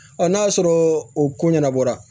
n'a sɔrɔ o ko ɲɛnabɔra